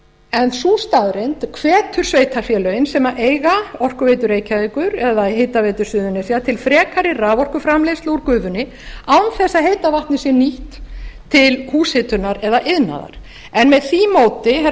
en sú staðreynd hvetur sveitarfélögin sem eiga orkuveitu reykjavíkur eða hitaveitu suðurnesja til frekari raforkuframleiðslu úr gufunni án þess að heita vatnið sé nýtt til húshitunar eða iðnaðar en með því móti herra